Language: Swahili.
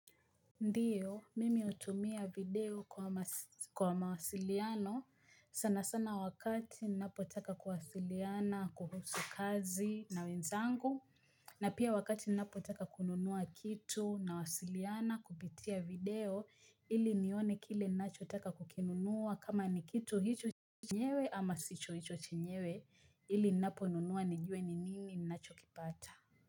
Ndiyo mimi natumia video kwa mawasiliano sana sana wakati ninapo taka kuwasiliana kuhusu kazi na wenzangu na pia wakati ninapo taka kununua kitu na wasiliana kupitia video ili nione kile nacho taka kukinunua kama ni kitu hicho chenyewe ama sicho hicho chenyewe ili ninapo nunua nijue ni nini nacho kipata.